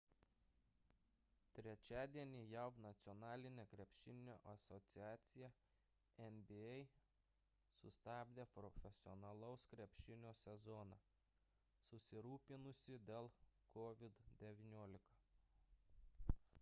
trečiadienį jav nacionalinė krepšinio asociacija nba sustabdė profesionalaus krepšinio sezoną susirūpinusi dėl covid-19